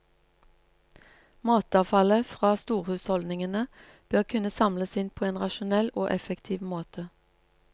Matavfallet fra storhusholdningene bør kunne samles inn på en rasjonell og effektiv måte.